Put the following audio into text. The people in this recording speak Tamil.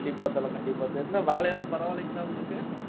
கண்டிப்பா தல, கண்டிப்பா வேலையெல்லாம் பரவாயில்லீங்களா உங்களுக்கு